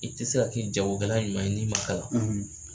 I te se ka jagokala ɲuman ye n'i ma kalan.